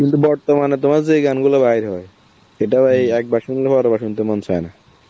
কিন্তু বর্তমানে তোমার যেই গানগুলো বাইর হয় সেটাও এই শুনলে বারবার শুনতে মন চায় না.